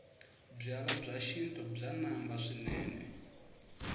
byalwa bya xintu bya namba swinene